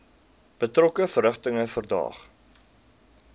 betrokke verrigtinge verdaag